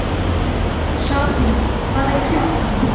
Sabína, hvað er klukkan?